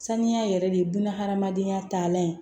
Saniya yɛrɛ de ye bunahadamadenya talan ye